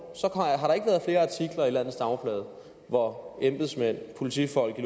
at i landets dagblade hvor embedsmænd og politifolk i